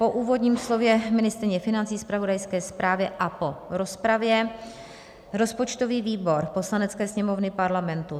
Po úvodním slově ministryně financí, zpravodajské zprávě a po rozpravě rozpočtový výbor Poslanecké sněmovny Parlamentu